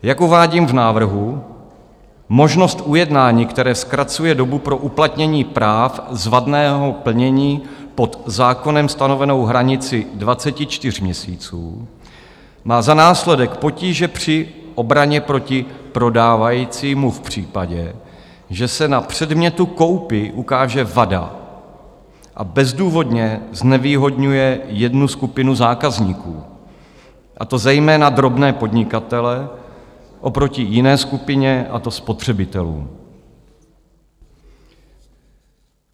Jak uvádím v návrhu, možnost ujednání, které zkracuje dobu pro uplatnění práv z vadného plnění pod zákonem stanovenou hranici 24 měsíců, má za následek potíže při obraně proti prodávajícímu v případě, že se na předmětu koupě ukáže vada, a bezdůvodně znevýhodňuje jednu skupinu zákazníků, a to zejména drobné podnikatele, oproti jiné skupině, a to spotřebitelům.